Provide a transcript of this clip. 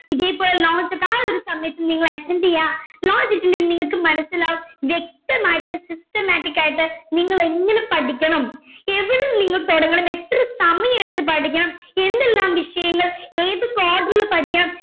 ഇതേ പോലെ notes ഒക്കെ ആ ഒരു സമയത്ത്‌ നിങ്ങൾ attend ചെയ്യുവാ launch attend ചെയ്താ നിങ്ങക്ക് മനസ്സിലാവും വ്യക്തമായിട്ട് systematic ആയിട്ട് നിങ്ങളെങ്ങനെ പഠിക്കണം എവിടെ നിന്ന് തുടങ്ങണം എത്ര സമയം എടുത്ത് പഠിക്കണം എന്തെല്ലാം വിഷയങ്ങൾ ഏതൊക്കെ order ൽ പഠിക്കണം